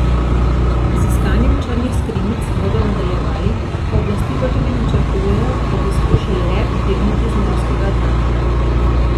Z iskanjem črnih skrinjic bodo nadaljevali, oblasti pa tudi načrtujejo, da bi skušali rep dvigniti z morskega dna.